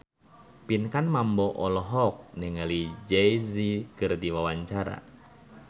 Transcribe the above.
Pinkan Mambo olohok ningali Jay Z keur diwawancara